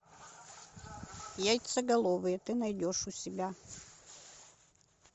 яйцеголовые ты найдешь у себя